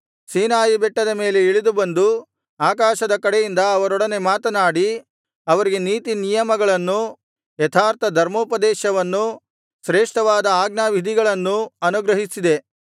ಸೀನಾಯಿ ಬೆಟ್ಟದ ಮೇಲೆ ಇಳಿದು ಬಂದು ಆಕಾಶದ ಕಡೆಯಿಂದ ಅವರೊಡನೆ ಮಾತನಾಡಿ ಅವರಿಗೆ ನೀತಿನಿಯಮಗಳನ್ನೂ ಯಥಾರ್ಥ ಧರ್ಮೋಪದೇಶವನ್ನೂ ಶ್ರೇಷ್ಠವಾದ ಆಜ್ಞಾವಿಧಿಗಳನ್ನೂ ಅನುಗ್ರಹಿಸಿದೆ